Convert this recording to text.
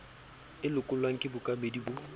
e lekolwang ke bookamedi bo